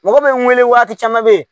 Mɔgɔ bɛ n wele waati caman bɛ ye